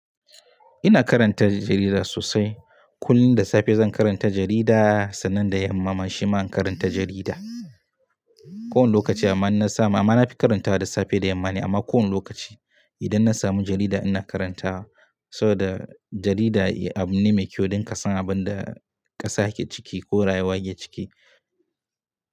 Ina karanta jarida sosai. Kullum da safe zan karanta jarida sannan da yamma man shiman karanta jarida. Ko wani lokaci amma na samu amma na fi karantawa da safe da yamma ne amma ko wani lokaci idan na samu jarida ina karanta wa saboda jarida abu ne mai kyau don ka san abin da ƙasa yake ciki ko rayuwa yake ciki.